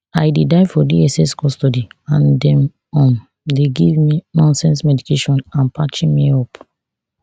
i dey die for dss custody and dem um dey give me nonsense medication and parching me up